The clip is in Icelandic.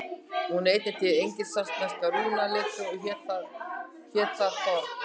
Hún var einnig til í engilsaxnesku rúnaletri og hét þar þorn.